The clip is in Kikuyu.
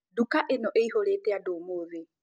Duka ĩno ĩhũrĩte andũ ũmũthĩ